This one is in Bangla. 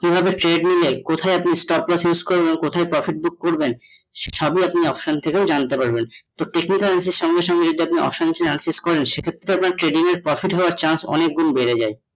এভাবে trading এ কোথায় আপনি করবেন, কোথায় profit book করবেন সবেই আপনি option থেকে জানতে পারবেন তো technical সঙ্গে সঙ্গে যদি option এ aap use করেন সে ক্ষেত্রে আপনার trading এ profit হওয়ার chance অনেক গুণ বেড়ে যাই